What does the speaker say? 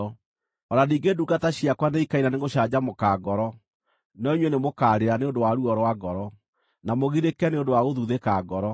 O na ningĩ ndungata ciakwa nĩikaina nĩgũcanjamũka ngoro, no inyuĩ nĩmũkarĩra nĩ ũndũ wa ruo rwa ngoro, na mũgirĩke nĩ ũndũ wa gũthuthĩka ngoro.